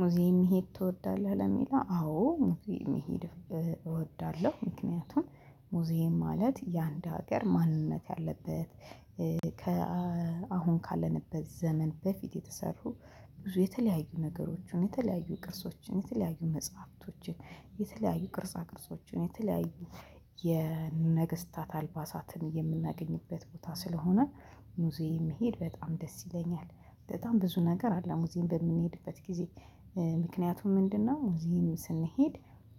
ሙዚየም መሄድ ትወዳለህ? ለሚለው አዎ ሙዚየም መሄድ እወዳለሁ። ምክንያቱም ሙዚየም ማለት የአንድ ሀገር ማንነት ያለበት ከአሁን ካለንበት ዘመን በፊት የተሰሩ ብዙ የተለያዩ ነገሮችን የተለያዩ ቅርሶችን የተለያዩ መጽሐፍቶችን የተለያዩ ቅርጻ ቅርጾችን የተለያዩ የነገስታት አልባሳትን የምናገኝበት ቦታ ስለሆነ። ሙዚየም መሄድ በጣም ደስ ይለኛል። በጣም ብዙ ነገር አለ ሙዚየም በምንሄድበት ጊዜ ምክንያቱም ምንድነው ሙዚየም ስንሄድ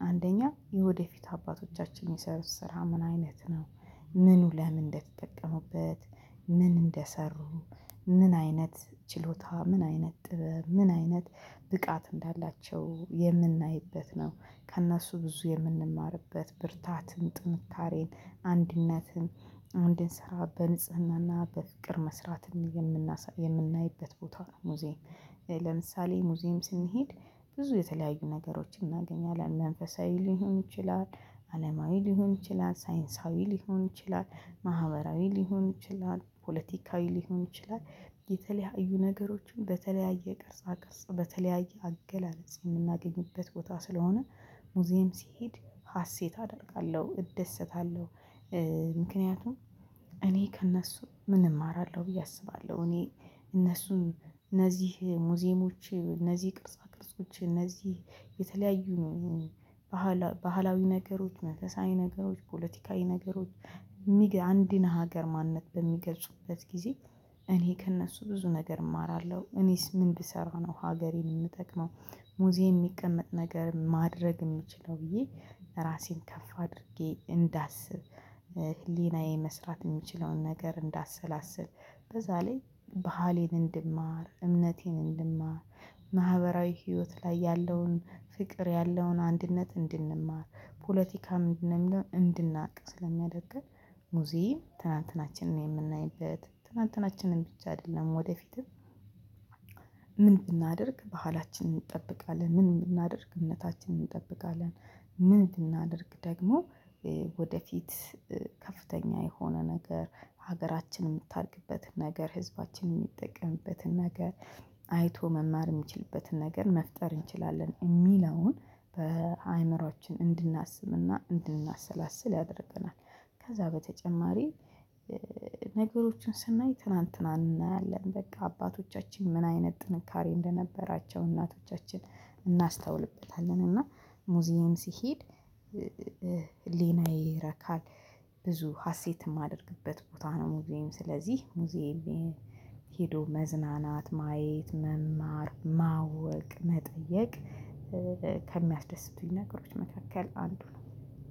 አንደኛ የወደፊት አባቶቻችን የሚሰሩት ስራ ምን አይነት ነው? ምኑ ለምን እንደተጠቀሙበት ምን እንደሰሩ ምን አይነት ችሎታ ምን አይነት ጥበብ ምን አይነት ብቃት እንዳላቸው የምናይበት ነው። ከእነሱ ብዙ የምንማርበት ብርታትን ጥንካሬን አንድነትን እንድንሰራ በንጽህና እና በፍቅር መስራትም የምናይበት ቦታ ነው ሙዚየም። ለምሳሌ ሙዚየም ስንሄድ ብዙ የተለያዩ ነገሮችን እናገኛለን መንፈሳዊ ሊሆን ይችላል። አለማዊ ሊሆን ይችላል ሳይንሳዊ ሊሆን ይችላል። ማህበራዊ ሊሆን ይችላል ፖለቲካዊ ሊሆን ይችላል። የተለያዩ ነገሮችን በተለያየ ቅርጻ ቅርጽ በተለያየ አገላለጽ የምናገኝበት ቦታ ስለሆነ ሙዚየም ሲሄድ ሀሴት አደርጋለሁ እደሰታለሁ። ምክንያቱም እኔ ከእነሱ ምን እማራለሁ ብዬ አስባለሁ እኔ እነሱን እነዚህ ሙዚየሞች እነዚህ ቅርጻ ቅርጾች እነዚህ የተለያዩ ነው ባህላዊ ነገሮች መንፈሳዊ ነገሮች ፖለቲካዊ ነገሮች። አንድን ሀገር ማንነት በሚገልጹበት ጊዜ እኔ ከእነሱ ብዙ ነገር እማራለሁ። እኔስ ምን ብሰራ ነው ሀገሬን የምጠቅመው? ሙዚየም የሚቀመጥ ነገር ማድረግ የምችለው ብዬ ራሴን ከፍ አድርጌ እንዳስብ። ህሊናዬ መስራት የምችለውን ነገር እንዳሰላስል በዛ ላይ ባህሌን እንድማር እምነቴን እንድማር ማህበራዊ ህይወት ላይ ያለውን ፍቅር ያለውን አንድነት እንድንማር ፖለቲካ ምንድነው የሚለውን እንድናቅ ስለሚያደርግን። ሙዚየም ትናንትናችንን የምናይበት ትናንትናችንን ብቻ አይደለም ወደፊትም ምን ብናደርግ ባህላችንን እንጠብቃለን ምን ብናደርግ እምነታችንን እንጠብቃለን። ምን ብናደርግ ደግሞ ወደፊት ከፍተኛ የሆነ ነገር ሀገራችንን የምታድግበትን ነገር ህዝባችንን የሚጠቀምበትን ነገር አይቶ መማር የሚችልበትን ነገር መፍጠር እንችላለን የሚለውን በአእምሮአችን እንድናስብና እንድናሰላስል ያደርገናል። ከዛ በተጨማሪ ነገሮችን ስናይ ትናንትናን እናያለን በቃ አባቶቻችን ምን አይነት ጥንካሬ እንደነበራቸው እናቶቻችን እናስተውልበታለን እና ሙዚየም ስሄድ ሕሊናዬ ይረካል። ብዙ ሀሴት የማደርግበት ቦታ ነው። ሙዚየም ስለዚህ ሙዚየም ሄዶ መዝናናት ማየት መማር ማወቅ መጠየቅ ከሚያስደስቱኝ ነገሮች መካከል አንዱ ነው